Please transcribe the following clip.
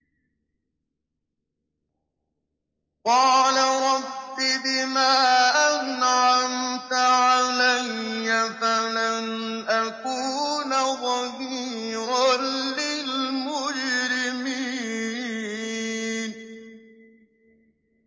قَالَ رَبِّ بِمَا أَنْعَمْتَ عَلَيَّ فَلَنْ أَكُونَ ظَهِيرًا لِّلْمُجْرِمِينَ